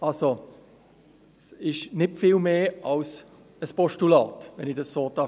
Also, es ist nicht viel mehr als ein Postulat, wenn ich das so sagen darf.